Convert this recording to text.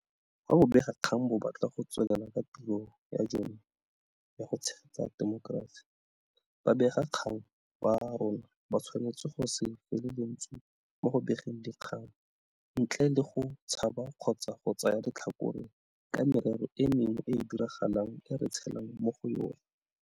Fa bobegakgang bo batla go tswelela ka tiro ya jone ya go tshegetsa temokerasi, babegakgang ba rona ba tshwanetse go se fele lentswe mo go begeng dikgang ntle le go tshaba kgotsa go tsaya letlhakore ka merero e mengwe e e diragalang e re tshelang mo go yona.